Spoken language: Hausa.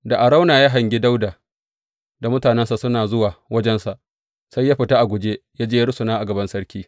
Da Arauna ya hangi Dawuda da mutanensa suna zuwa wajensa, sai ya fita a guje, ya je ya rusuna a gaban sarki.